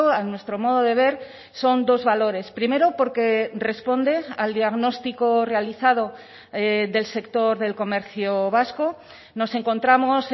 a nuestro modo de ver son dos valores primero porque responde al diagnóstico realizado del sector del comercio vasco nos encontramos